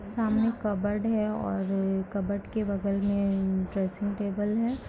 सामने कबर्ड है और कबर्ड के बगल में ड्रेसिंग टेबल है।